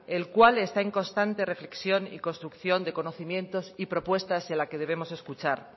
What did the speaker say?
el cual está en constante reflexión y construcción de conocimientos y propuestas y a la que debemos escuchar